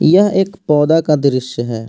यह एक पौधा का दृश्य है।